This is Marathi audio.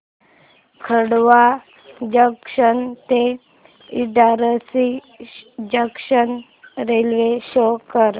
खंडवा जंक्शन ते इटारसी जंक्शन रेल्वे शो कर